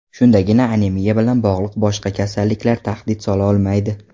Shundagina anemiya bilan bog‘liq boshqa kasalliklar tahdid sola olmaydi.